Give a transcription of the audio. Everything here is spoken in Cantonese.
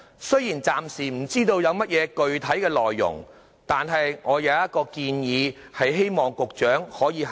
雖然暫時不知有何具體內容，但我有一項建議，希望局長考慮。